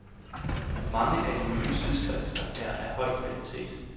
Mange af de nye tidsskrifter er af høj kvalitet.